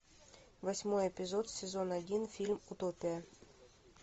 восьмой эпизод сезон один фильм утопия